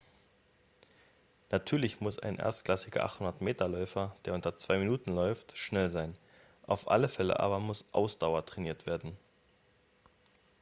natürlich muss ein erstklassiger 800-m-läufer der unter zwei minuten läuft schnell sein auf alle fälle aber muss ausdauer trainiert werden